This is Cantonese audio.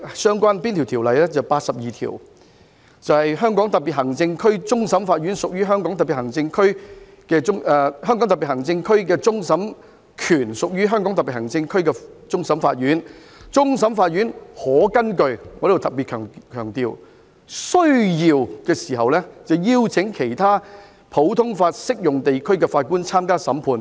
是第八十二條："香港特別行政區的終審權屬於香港特別行政區終審法院。終審法院可根據"——我要特別強調——"需要邀請其他普通法適用地區的法官參加審判。